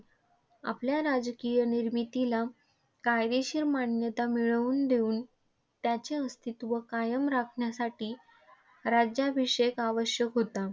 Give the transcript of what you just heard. आपल्या राजकीय निर्मितीला कायदेशीर मान्यता मिळवून देऊन, त्याचे अस्तित्व कायम राखण्यासाठी राज्याभिषेक आवश्यक होता.